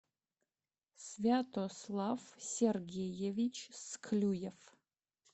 святослав сергеевич склюев